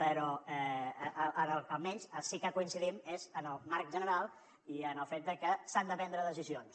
però almenys en el que sí que coincidim és en el marc general i en el fet de que s’han de prendre decisions